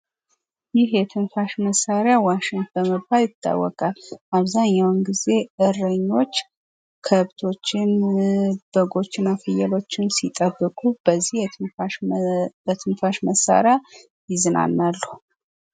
ይህ የትንፋሽ መሳሪያ ዋሽንት በመባል ይታወቃል። አብዛኛውን ጊዜ እረኞች ከብቶችን ፣ በጎችን፣ ፍየሎችን ሲጠብቁ በዚ የትንፋሽ መሳሪያ ይዝናናሉ።